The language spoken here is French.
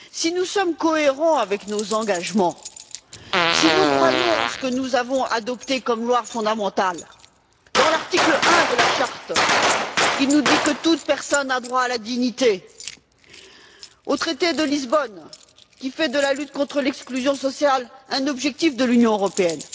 Si nous sommes cohérents avec nos engagements, si nous croyons en ce que nous avons adopté comme loi fondamentale, dans l'article 1er de la charte qui nous dit que toute personne a droit à la dignité, dans le traité de Lisbonne qui fait de la lutte contre l'exclusion sociale un objectif de l'Union européenne,